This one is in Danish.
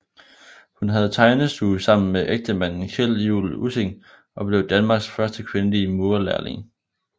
Hun havde tegnestue sammen med ægtemanden Kjeld Juul Ussing og blev Danmarks første kvindelige murerlærling